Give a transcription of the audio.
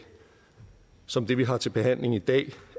som det vi har til behandling i dag